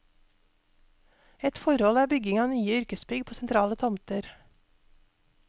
Ett forhold er bygging av nye yrkesbygg på sentrale tomter.